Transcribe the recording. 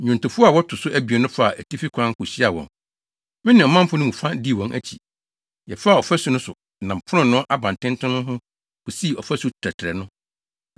Nnwontofo a wɔto so abien no faa atifi kwan kohyiaa wɔn. Me ne ɔmanfo no mu fa dii wɔn akyi. Yɛfaa ɔfasu no so nam Fononoo Abantenten no ho kosii Ɔfasu Tɛtrɛɛ no,